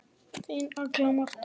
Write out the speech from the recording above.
Þín Agla Marta.